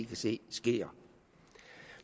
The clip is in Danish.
kan se sker